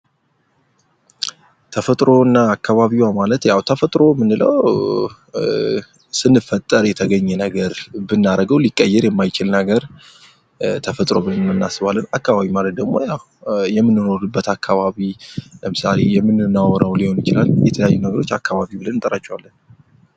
ተፈጥሮ እና አካባቢዋ ማለት ያው ተፈጥሮ ምንለው ስንፈጠር የተገኘ ነገር ብናደርገው ሊቀየር የማይችል ነገር ተፈጥሮ ብለን እናስባለን ፤ አካባቢ ማለት ደግሞ የምንሆንበት አካባቢ ለምሳሌ የምናወራው ሊሆን ይችላል። የተለያዩ ነገሮች አካባቢ ብለን እንጠራቸዋለን።